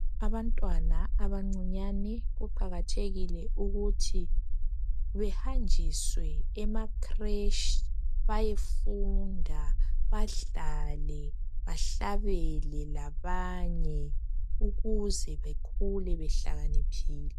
Abantwana abancinyane kuqakathekile ukuthi behanjiswe emakreshi bayefunda, badlale, bahlabele labanye ukuze bekhule behlakaniphile.